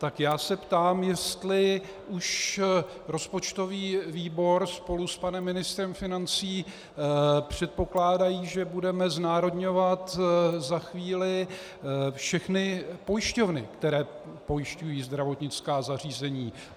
Tak já se ptám, jestli už rozpočtový výbor spolu s panem ministrem financí předpokládají, že budeme znárodňovat za chvíli všechny pojišťovny, které pojišťují zdravotnická zařízení.